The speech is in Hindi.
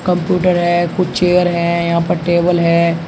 कंप्यूटर है कुछ चेयर है यहां पर टेबल है।